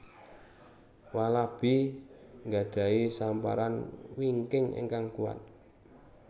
Walabi nggadhahi samparan wingking ingkang kuwat